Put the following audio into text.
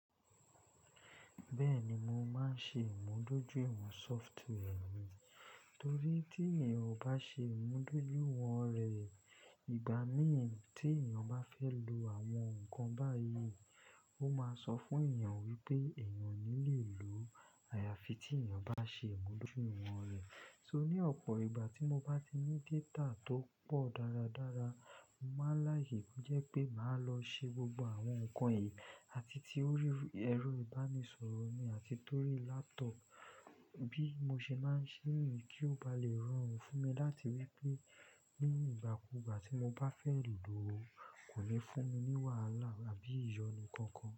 Bẹ́ẹ̀ ni, mo máa ń ṣe ìmúdójú ìwọ̀n software mi, torí tí èèyàn kò bá ṣe ìmúdójúìwọ̀n rẹ̀, ìgbà míi tí èèyàn bá fẹ́ lo àwọn nǹkan báyìí, ó máa sọ fún èèyàn wípé èèyàn ní lè lo àyàfi tí èèyàn bá ṣe ìmúdójúìwọ̀n rẹ̀. Torí ní ọ̀pọ̀ ìgbà tí mo bá ní data tó pọ̀ dáradára, mo máa n. Láàyè to jẹ́ pé màá lọ ṣe gbogbo àwọn nǹkan yìí, àti torí ẹ̀rọ ìbánisọ̀rọ̀ mi àti torí laptop bí mo ṣe máa ń ṣe èyí kí ó ba lè rọ́rùn fún mi láti wípé ní ìgbà kúùgbà tí mo bá fẹ́ lò ó, kò lè fún mi ní wàhálà àbí ìyọnu kankan.